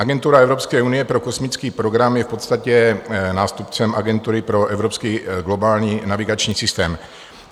Agentura Evropské unie pro kosmický program je v podstatě nástupcem Agentury pro evropský globální navigační systém.